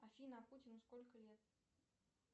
афина а путину сколько лет